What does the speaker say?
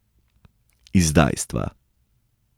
Izdajstva.